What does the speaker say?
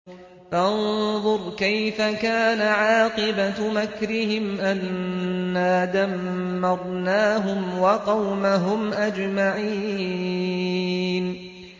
فَانظُرْ كَيْفَ كَانَ عَاقِبَةُ مَكْرِهِمْ أَنَّا دَمَّرْنَاهُمْ وَقَوْمَهُمْ أَجْمَعِينَ